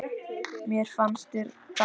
Mér fannst það gaman.